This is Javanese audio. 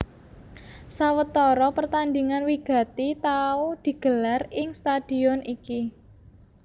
Sawetara pertandingan wigati tau digelar ing stadion iki